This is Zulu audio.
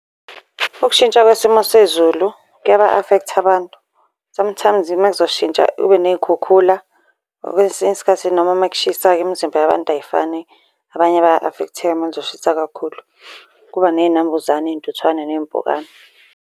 Ukushintsha kwesimo sezulu kuyaba-afektha abantu. Sometimes uma kuzoshintsha kube ney'khukhula kwesinye isikhathi, noma uma kushisa-ke imizimba yabantu ayifani. Abanye baya-afektheka uma kuzoshisa kakhulu, kuba ney'nambuzane, iy'ntuthwane ney'mpukane.